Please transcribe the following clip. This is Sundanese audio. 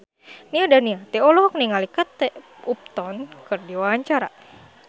Nia Daniati olohok ningali Kate Upton keur diwawancara